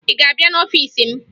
Ị ga-abịa n'ọfiisi m?